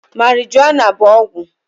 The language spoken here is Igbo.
Marijuana bụ ọgwụ